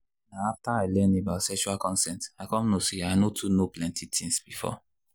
na after i learn about sexual consent i come know say i no too know plenty things before